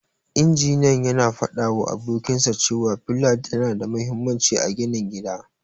Injiniyan yana fadawa abokinsa cewa fila tana da mahimmanci a ginin gida.